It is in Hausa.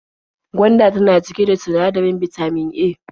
Gwanda tana cike da sinadarin bitamin A.